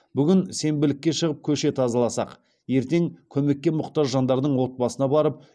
бүгін сенбілікке шығып көше тазаласақ ертең көмекке мұқтаж жандардың отбасына барып